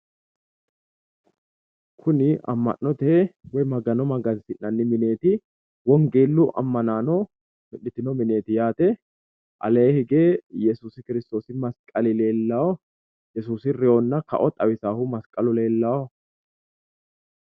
Kuni amma'note woy magano magansi'nanni mineeti wongeellu ammanaano mi'nitino mineeti yaate aleenni hige yesuusi kirstoosi masqalu leellawo yesuusi reewonna kao leellishshahu lellawu.